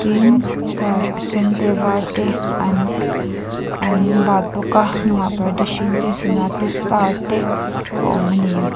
tin scarf a sen te a vâr te an an bat bawk a a hnung ah parda hring te sana te star te a awm a ni.